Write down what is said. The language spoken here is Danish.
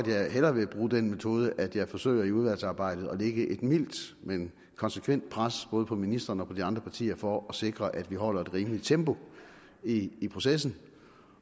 jeg hellere vil bruge den metode at jeg forsøger i udvalgsarbejdet at lægge et mildt men konsekvent pres både på ministeren og de andre partier for at sikre at vi holder et rimeligt tempo i i processen